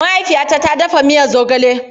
Mahaifiyata ta dafa miya zogale.